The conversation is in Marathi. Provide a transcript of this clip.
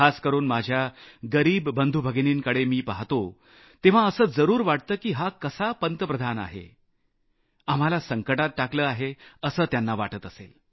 खास करून माझ्या गरिब बंधुभगिनींना पहातो तेव्हा असं जरूर वाटतं की हा कसा प्रधानमंत्री आहे आम्हाला संकटात टाकलं आहे असं त्यांना वाटत असेल